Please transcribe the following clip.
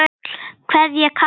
kveðja Kári Freyr.